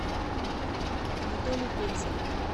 анатолий пензин